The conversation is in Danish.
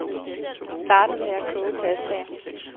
Han startede med at koge pastaen.